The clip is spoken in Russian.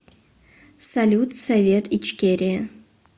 салют совет ичкерия